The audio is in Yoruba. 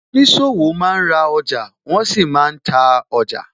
Oníṣòwò máa ń ra ọjà, wọn sì máa ń ta ọjà